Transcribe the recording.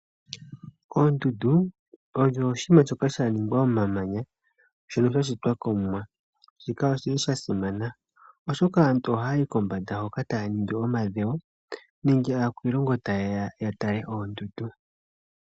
Oondundu odho oshinima shoka sha ningwa momamanya shono sha shitwa kOmuwa, shika oshili sha simana oshoka aantu ohaya yi kombanda hoka taya ningi omadhewo nenge aakwiilongo ta ye ya tale oondundu.